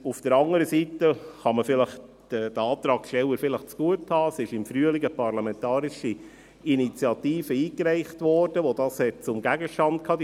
Auf der anderen Seite kann man den Antragstellern vielleicht zugutehalten, dass im Frühling eine parlamentarische Initiative eingereicht wurde, die dies zum Gegenstand hatte.